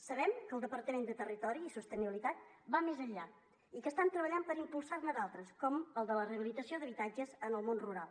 sabem que el departament de territori i sostenibilitat va més enllà i que estan treballant per impulsar ne d’altres com la de la rehabilitació d’habitatges en el món rural